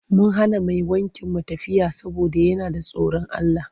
Mun hana mai wankin mu tafiya saboda yana da tsorin Allah.